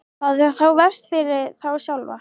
Það er þá verst fyrir þá sjálfa.